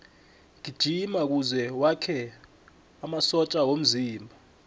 gijima kuze wakhe amasotja womzimba